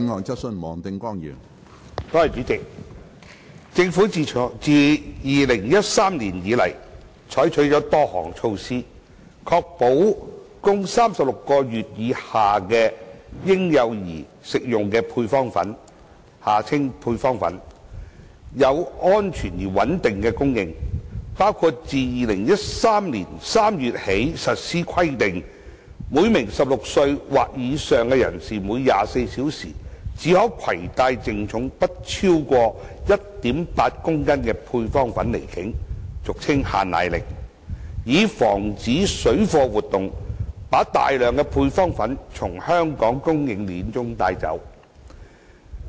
主席，政府自2013年以來採取了多項措施，確保供36個月以下嬰幼兒食用的配方粉有安全而穩定的供應，包括自2013年3月起實施規定，每名16歲或以上人士每24小時計只可攜帶淨重不超過 1.8 公斤配方粉離境，以防止水貨活動把大量配方粉從香港供應鏈中帶走。